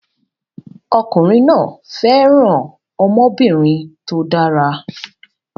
Ọkùnrin náà fẹ́ràn ọmọbìnrin tó dára